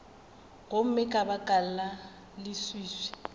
gomme ka baka la leswiswi